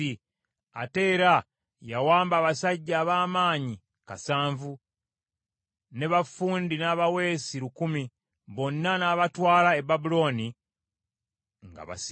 Ate era yawamba abasajja ab’amaanyi kasanvu, ne baffundi n’abaweesi lukumi, bonna n’abatwala e Babulooni nga basibe.